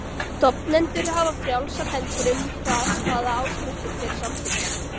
Stofnendur hafa frjálsar hendur um það hvaða áskriftir þeir samþykkja.